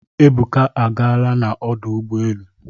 Ebuka agaala ọdụ ụgbọ elu.